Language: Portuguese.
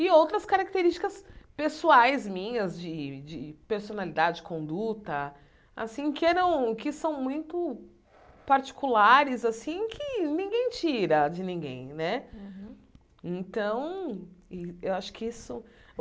E outras características pessoais minhas, de de personalidade, conduta assim, que eram que são muito particulares assim, que ninguém tira de ninguém né. Uhum Então eu acho que isso